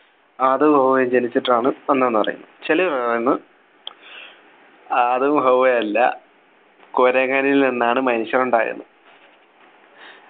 ആദവും ഹവ്വയും ജനിച്ചിട്ടാണ് വന്നത് ന്നു പറയുന്നു ചെലര് പറയുന്ന് ആദവും ഹവ്വയും അല്ല കുരങ്ങനിൽ നിന്നാണ് മനുഷ്യൻ ഉണ്ടായെന്നു